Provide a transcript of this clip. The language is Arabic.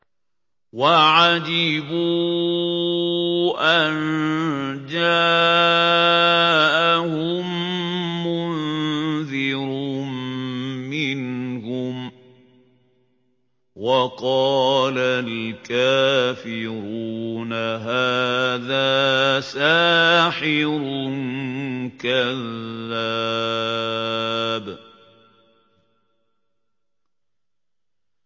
وَعَجِبُوا أَن جَاءَهُم مُّنذِرٌ مِّنْهُمْ ۖ وَقَالَ الْكَافِرُونَ هَٰذَا سَاحِرٌ كَذَّابٌ